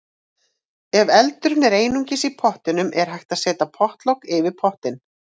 Ef eldurinn er einungis í pottinum er hægt að setja pottlok yfir pottinn.